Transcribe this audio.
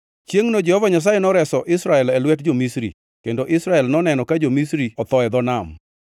Chiengʼno Jehova Nyasaye noreso Israel e lwet jo-Misri, kendo Israel noneno ka jo-Misri otho e dho nam.